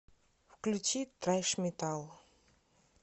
включи трэш метал